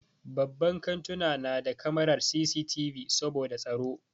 Babban kantuna na da kamarar CCTV saboda tsaro.